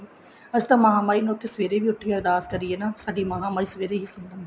ਅਸੀਂ ਤਾਂ ਮਹਾ ਮਾਈ ਨੂੰ ਸਵੇਰੇ ਵੀ ਉੱਠ ਕੇ ਅਰਦਾਸ ਕਰੀਏ ਨਾ ਸਾਡੀ ਮਹਾ ਮਾਈ ਸਵੇਰੇ ਹੀ ਸੁਣ ਲੈਂਦੀ